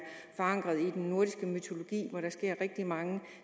forankret i den nordiske mytologi og hvor der sker rigtig mange